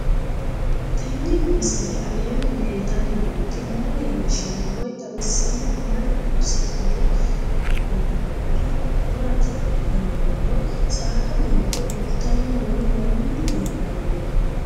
Tenni misile aleenni leelittanni nootti maa leelishshanno woy xawisannori may noosse yinne la'neemmori maattiya yinummoro saadda goritte dulittanni noo Mani leelanno